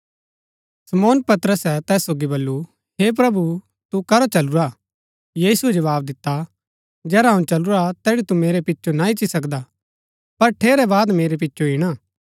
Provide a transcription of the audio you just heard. शमौन पतरसे तैस सोगी बल्लू हे प्रभु तू करा चलूरा यीशुऐ जवाव दिता जेहरा अऊँ चलूरा तैड़ी तू मेरै पिचो ना इच्ची सकदा पर ठेरै बाद मेरै पिचो ईणा